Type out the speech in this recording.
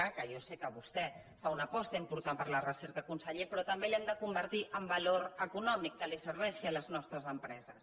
que jo sé que vostè fa una aposta important per la recerca conseller però també l’hem de convertir en valor econòmic que serveixi a les nostres empreses